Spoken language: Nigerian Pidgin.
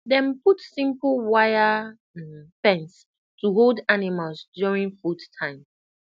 dem put simple wire um fence to hold animals during food time